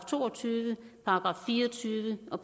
to og tyve § fire og tyve og